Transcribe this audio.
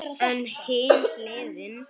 En hin hliðin.